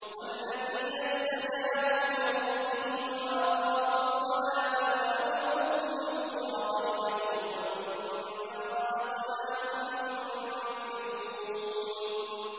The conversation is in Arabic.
وَالَّذِينَ اسْتَجَابُوا لِرَبِّهِمْ وَأَقَامُوا الصَّلَاةَ وَأَمْرُهُمْ شُورَىٰ بَيْنَهُمْ وَمِمَّا رَزَقْنَاهُمْ يُنفِقُونَ